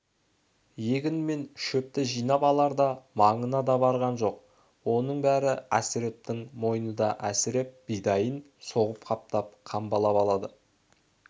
егін мен шөпті жинап аларда маңына да барған жоқ оның бәрі әсірептің мойнында әсіреп бидайын соғып қаптап-қамбалап алады